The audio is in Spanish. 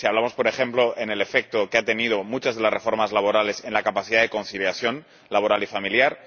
si hablamos, por ejemplo, del efecto que han tenido muchas de las reformas laborales en la capacidad de conciliación laboral y familiar